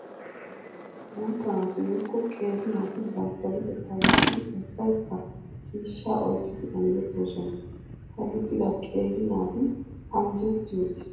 Guuta naati woykko qeeri naati bantta luxetta wurssiddi ubbaykka ciishsha oyqqiddi anjjetosonna. Ha luxidda qeeri naati anjjettiyo issi mala maayuwa maayidosona.